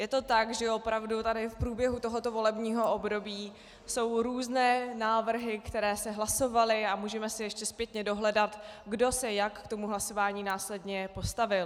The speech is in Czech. Je to tak, že opravdu tady v průběhu tohoto volebního období jsou různé návrhy, které se hlasovaly, a můžeme si ještě zpětně dohledat, kdo se jak k tomu hlasování následně postavil.